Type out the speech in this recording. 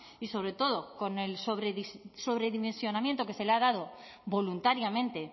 y sobre todo con el sobredimensionamiento que se le ha dado voluntariamente